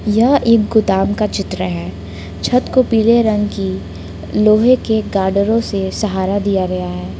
यह एक गोदाम का चित्र है छत को पीले रंग की लोहे के गाडरौ से सहारा दिया गया है ।